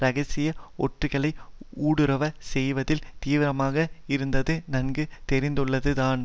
இரகசிய ஒற்றுகளை ஊடுருவச் செய்வதில் தீவிரமாக இருந்தது நன்கு தெரிந்துள்ளதுதான்